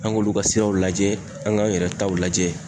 An k'olu ka siraw lajɛ an k'an yɛrɛ taw lajɛ.